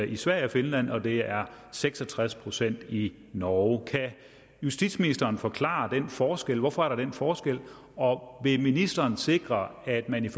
i sverige og finland og det er seks og tres procent i norge kan justitsministeren forklare den forskel hvorfor er der den forskel og vil ministeren sikre at man i